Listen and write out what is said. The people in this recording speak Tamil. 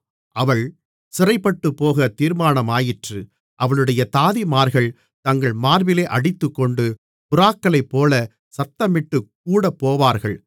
அவள் சிறைப்பட்டுப்போகத் தீர்மானமாயிற்று அவளுடைய தாதிமார்கள் தங்கள் மார்பிலே அடித்துக்கொண்டு புறாக்களைப்போலச் சத்தமிட்டுக் கூடப்போவார்கள்